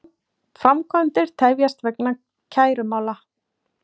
Framkvæmdir tefjast vegna kærumála